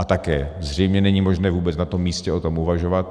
A také zřejmě není možné vůbec na tom místě o tom uvažovat.